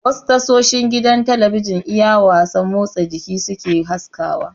Wasu tashoshin gidan talabijin iya wasan motsa jiki suke haskawa